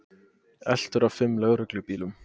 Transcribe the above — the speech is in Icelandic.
Eltur af fimm lögreglubílum